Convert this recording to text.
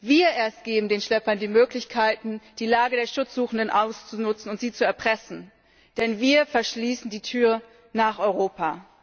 Wir erst geben den Schleppern die Möglichkeit, die Lage der Schutzsuchenden auszunutzen und sie zu erpressen, denn wir verschließen die Tür nach Europa.